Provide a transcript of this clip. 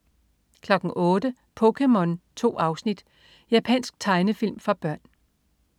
08.00 POKéMON. 2 afsnit. Japansk tegnefilm for børn